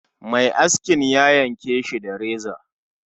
Mai askin ya yanke Shi da reza